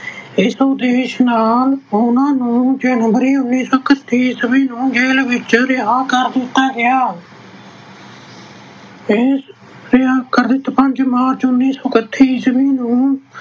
ਇਸ ਉਦੇਸ਼ ਨਾਲ ਉਹਨਾਂ ਨੂੰ ਜਨਵਰੀ, ਉਨੀ ਸੌ ਇਕਤੀ ਈਸਵੀ ਨੂੰ ਜੇਲ੍ਹ ਵਿੱਚੋਂ ਰਿਹਾਅ ਕਰ ਦਿੱਤਾ ਗਿਆ। ਇਸ ਕਾਰਨ ਪੰਜ ਮਾਰਚ, ਉਨੀ ਸੌ ਇੱਕਤੀ ਈਸਵੀ ਨੂੰ